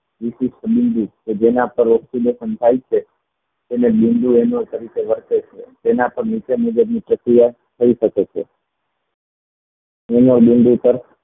જેના પર વર્તે છે તેના પર નીચે મુજબ ની પ્રક્રિયા કરી શકે છે પાર